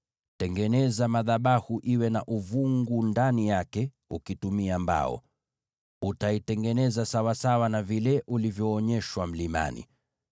Tengeneza madhabahu yawe na uvungu ndani yake ukitumia mbao. Utaitengeneza sawasawa na vile ulivyoonyeshwa mlimani.